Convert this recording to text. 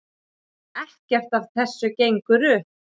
Ekkert af þessu gengur upp.